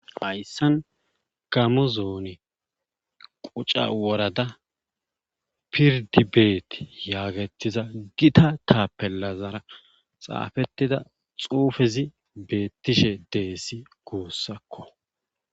Hayssan gamo zoone quca worada pirddi beeti yaagettiza gita taapellazara xaafettida xuufezi beettishe desi guusako.